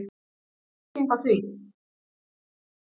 Einhver skýring á því?